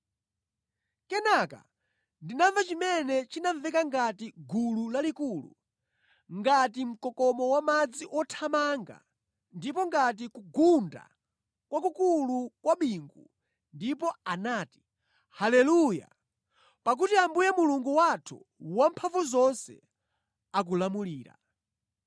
Kenaka ndinamva chimene chinamveka ngati gulu lalikulu, ngati mkokomo wamadzi othamanga ndipo ngati kugunda kwakukulu kwa bingu, ndipo anati, “Haleluya! Pakuti Ambuye Mulungu wathu Wamphamvuzonse akulamulira.